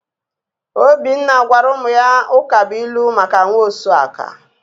Obinna gwara ụmụ ya ụkabuilu maka nwaosuaka.